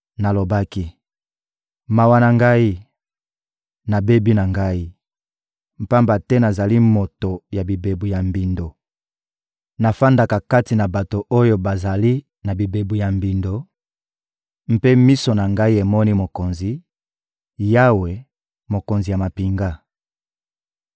Nalobaki: «Mawa na ngai! Nabebi na ngai, pamba te nazali moto ya bibebu ya mbindo, navandaka kati na bato oyo bazali na bibebu ya mbindo, mpe miso na ngai emoni Mokonzi, Yawe, Mokonzi ya mampinga!»